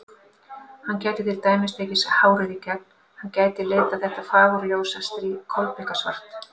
Hann gæti til dæmis tekið hárið í gegn, hann gæti litað þetta fagurljósa strý kolbikasvart.